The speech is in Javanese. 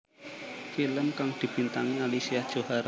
Film kang dibintangi Alicia Johar